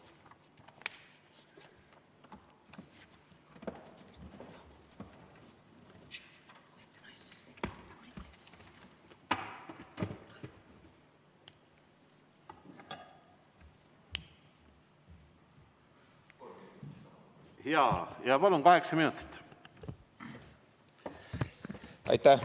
Jaa, palun, kaheksa minutit!